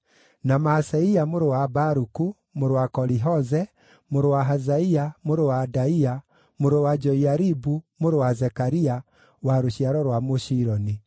na Maaseia mũrũ wa Baruku, mũrũ wa Koli-Hoze, mũrũ wa Hazaia, mũrũ wa Adaia, mũrũ wa Joiaribu, mũrũ wa Zekaria, wa rũciaro rwa Mũshiloni.